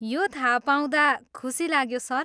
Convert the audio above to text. यो थाहा पाउँदा खुसी लाग्यो, सर।